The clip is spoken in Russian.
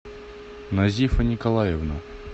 назифа николаевна